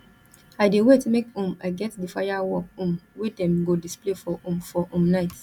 i dey wait make um i get di firework um wey dem go display for um for um night